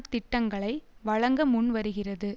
திட்டங்களை வழங்க முன்வருகிறது